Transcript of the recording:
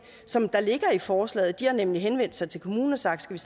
som der ligger i forslaget de har nemlig henvendt sig til kommunen og sagt skal